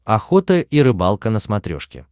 охота и рыбалка на смотрешке